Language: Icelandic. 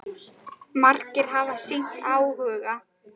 Margir hafi sýnt áhuga.